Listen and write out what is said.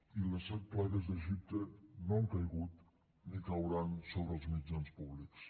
i les set plagues d’egipte no han caigut ni cauran sobre els mitjans públics